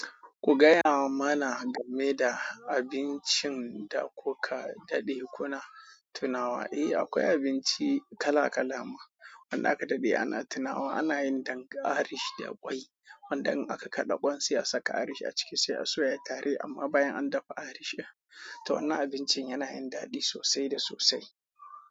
Ku gaya mana game da abincin da kuka daɗe kuna tunawa. Eh, akwai abinci kala-kala ma wanda aka daɗe ana tunawa. Ana yin dank Irish da kwai, wanda in aka kaɗa kwansu ya saka Irish a ciki sai ya soya tare, amma bayan an dafa Irish ɗin. To wannan abincin yana yin daɗi sosai da sosai.